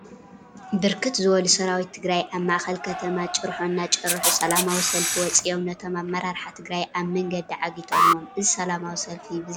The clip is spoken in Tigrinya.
ብርክት ዝበሉ ሰራዊት ትግራይ አብ ማእከል ከተማ ጭርሖ እናጨርሑ ሰላማዊ ሰልፊ ወፂኦም ነቶም አመራርሓ ትግራይ አብ መንገዲ ዓጊቶሞም፡፡ እዚ ሰላማዊ ሰልፊ ብዛዕባ እንታይ ?